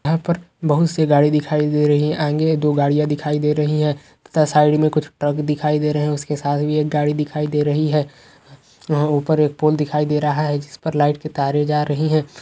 यहाँ पर बहुत सी गाड़ी दिखाई दे रही है आगे दो गाड़ियां दिखाई दे रही है तथा साइड में कुछ ट्रक दिखाई दे रही है उसके साथ में एक गाड़ी दिखाई दे रही हैं वह ऊपर एक पोल दिखाई दे रहा है जिस पर लाइट की तारे जा रही है।